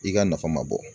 I ka nafa ma bɔ